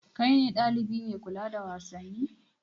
Kai ne ɗalibi mai kula da wasanni?